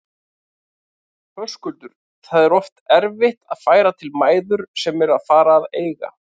Höskuldur: Það er oft erfitt að færa til mæður sem eru að fara að eiga?